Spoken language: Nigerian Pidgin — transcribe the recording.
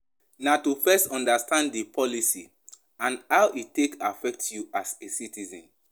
Na to first understand di policy and how e take affect you as a citizen